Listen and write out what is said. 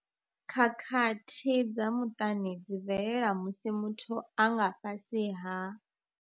Khakhathi dza muṱani dzi bvelela musi muthu a nga fhasi ha.